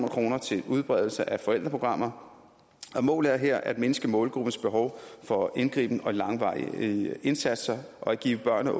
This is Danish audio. kroner til udbredelse af forældreprogrammer og målet er her at mindske målgruppens behov for indgriben og langvarige indsatser og at give børnene og